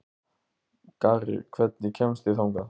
Garri, hvernig kemst ég þangað?